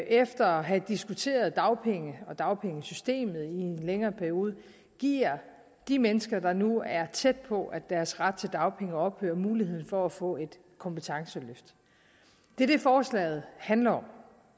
efter at have diskuteret dagpenge og dagpengesystemet i en længere periode giver de mennesker der nu er tæt på at deres ret til dagpenge ophører mulighed for at få et kompetenceløft det er det forslaget handler om